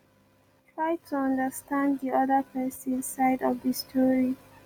try to understand di oda person side of di story